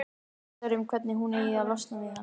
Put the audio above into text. Hugsar um hvernig hún eigi að losna við hann.